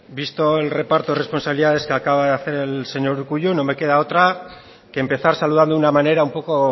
bueno visto el reparto de responsabilidades que acaba de hacer el señor urkullu no me queda otra que empezar saludando de una manera un poco